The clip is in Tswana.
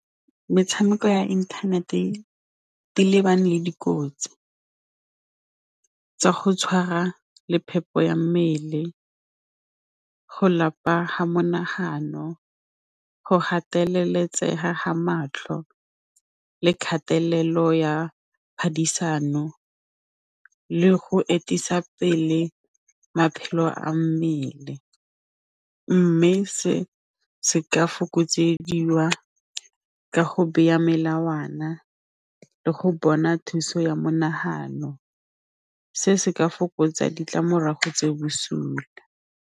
Metshameko ya internet-e e lebane le dikotsi tsa go tshwara le phepo ya mmele go lapa ha monagano, go gateleletsega ga matlho le kgatelelo ya diphadisano le go atisa pele maphelo a mmele mme se se ka fokotsa ka go beya melawana le go bona thuso ya monagano, se se ka fokotsa ditlamorago tse bosula.